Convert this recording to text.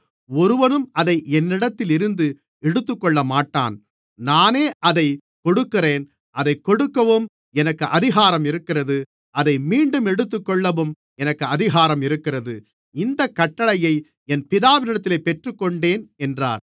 ஒருவனும் அதை என்னிடத்தில் இருந்து எடுத்துக்கொள்ளமாட்டான் நானே அதைக் கொடுக்கிறேன் அதைக் கொடுக்கவும் எனக்கு அதிகாரம் இருக்கிறது அதை மீண்டும் எடுத்துக்கொள்ளவும் எனக்கு அதிகாரம் இருக்கிறது இந்தக் கட்டளையை என் பிதாவினிடத்தில் பெற்றுக்கொண்டேன் என்றார்